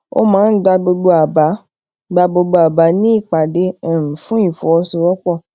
o maa n gba gbogbo aba gba gbogbo aba ni ipade um fun ifọwọsowópo